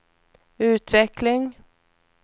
utveckling